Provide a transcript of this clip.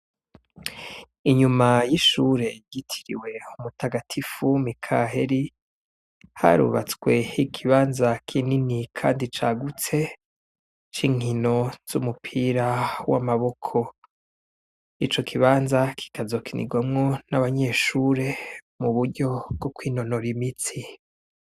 Inyuma y'ishure igitiriwe umutagatifu mikaheli harubatsweho igibanza kinini, kandi cagutse c'inkino z'umupira w'amaboko ico kibanza kikazokinigwamwo n'abanyeshure mu buryo bwokina nora imitsi.